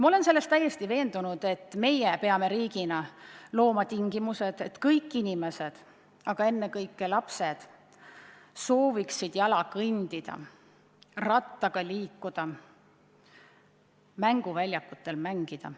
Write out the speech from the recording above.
Ma olen selles täiesti veendunud, et me peame riigina looma tingimused, et kõik inimesed, aga ennekõike lapsed sooviksid jala kõndida, rattaga liikuda, mänguväljakutel mängida.